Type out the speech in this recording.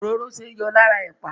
Òróró ṣeé yọ lára ẹ̀pà.